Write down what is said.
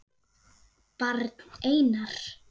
Barn: Einar.